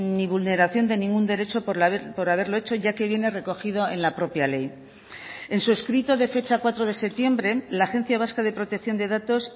ni vulneración de ningún derecho por haberlo hecho ya que viene recogido en la propia ley en su escrito de fecha cuatro de septiembre la agencia vasca de protección de datos